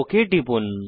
okay টিপুন